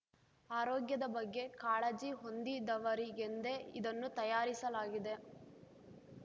ಆರೋಗ್ಯದ ಬಗ್ಗೆ ಕಾಳಜಿ ಹೊಂದಿದವರಿಗೆಂದೇ ಇದನ್ನು ತಯಾರಿಸಲಾಗಿದೆ